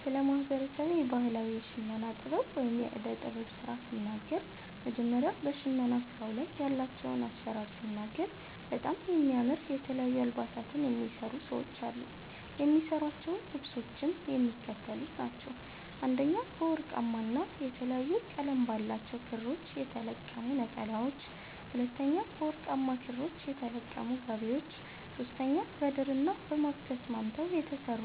ስለ ማህበረሰቤ ባህላዊ የሽመና ጥበብ ወይም የእደ ጥበብ ስራ ስናገር መጀመሪያ በሸመና ስራዉ ላይ ያላቸዉን አሰራር ስናገር በጣም የሚያምር የተለያዩ አልባሳትን የሚሰሩ ሰዎች አሉ። የሚሰሯቸዉ ልብሶችም የሚከተሉት ናቸዉ፦ 1) በወርቃማ ና የተለያየ ቀለም ባላቸዉ ክሮች የተለቀሙ ነጠላዎች፤ 2)በወርቃማ ክሮች የተለቀሙ ጋቢዎች፤ 3)በድርና በማግ ተስማምተዉ የተሰሩ